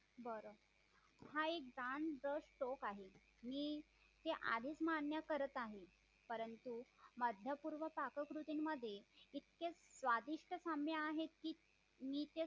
बरं हा एक दान दस्त आहे मी हे आधीच मान्य करत आहे परंतु मध्य पूर्वक काककृतीमध्ये इतके स्वादिष्ट साम्य आहे की मी ते